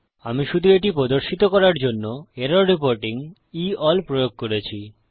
আমি শুধু এটি প্রদর্শিত করার জন্য এরর রিপোর্টিং E এএলএল প্রয়োগ করেছি